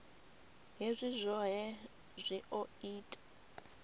hezwi zwohe zwi o ita